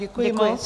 Děkuji moc.